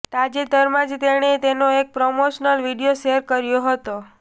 તાજેતરમાં જ તેણે તેનો એક પ્રમોશનલ વીડિયો શેર કર્યો છે